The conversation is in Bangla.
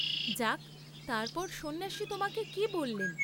যাক, তার পর সন্ন্যাসী তোমাকে কি বল্লেন?